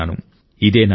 ఇదే నా కోరిక